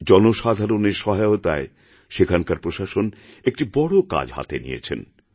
জনসাধারণের সহায়তায় সেখানকার প্রশাসন একটি বড় কাজহাতে নিয়েছেন